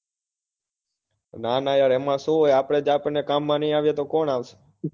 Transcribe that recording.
ના ના યાર એમાં શું હોય આપણે આપણા કામ માં ન આવીએ તો કોણ આવશે?